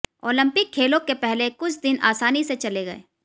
Olympic खेलों के पहले कुछ दिन आसानी से चले गए